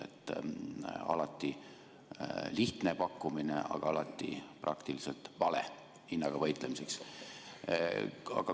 See on alati lihtne pakkumine, aga alati praktiliselt vale lahendus hinnaga võitlemiseks.